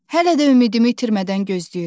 Hələ də ümidimi itirmədən gözləyirəm.